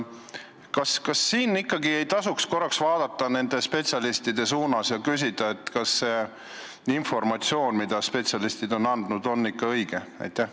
Kas siin ei tasuks korraks vaadata spetsialistide suunas ja küsida, kas see informatsioon, mida need spetsialistid on andnud, on ikka õige?